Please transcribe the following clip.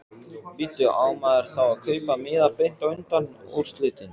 Bíddu. á maður þá að kaupa miða beint á undanúrslitin?